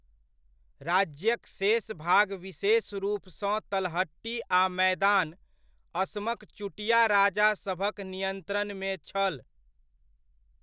राज्यक शेष भाग विशेष रूपसँ तलहटी आ मैदान, असमक चुटिया राजा सभक नियन्त्रणमे छल।